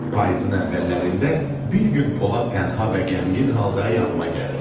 Payızın əvvəllərində bir gün Polad tənha və qəmgin halda yanıma gəldi.